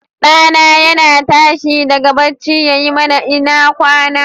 Ɗa na yana tashi daga bacci yayi mana " ina kwana".